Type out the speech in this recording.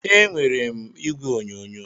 Ee, enwere m igwe onyonyo.